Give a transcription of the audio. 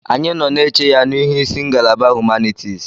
Anyị nọ na-eche ya n'ihu isi ngalaba humanitis.